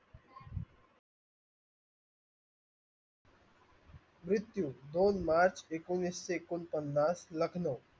मृत्यू दोन मार्च एकिनिशे ऐकोन पन्नास